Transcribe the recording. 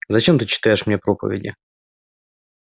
зачем ты читаешь мне проповеди